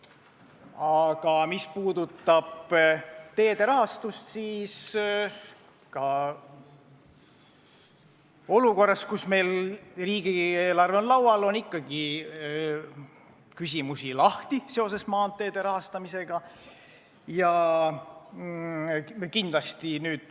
Aga mis puudutab teede rahastamist, siis ka olukorras, kus meil riigieelarve on laual, on maanteede rahastamisega seoses ikkagi lahtisi küsimusi.